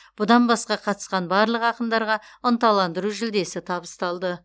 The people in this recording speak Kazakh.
бұдан басқа қатысқан барлық ақындарға ынталандыру жүлдесі табысталды